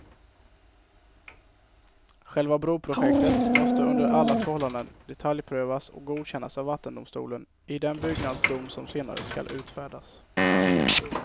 Själva broprojektet måste under alla förhållanden detaljprövas och godkännas av vattendomstolen, i den byggnadsdom som senare skall utfärdas.